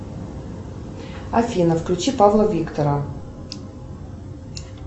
афина включи павла виктора